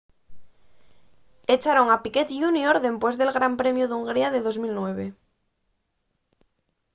echaron a piquet jr dempués del gran premiu d'hungría de 2009